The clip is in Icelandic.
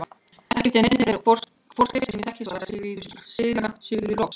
Ekki eftir neinni þeirri forskrift sem ég þekki, svaraði síra Sigurður loks.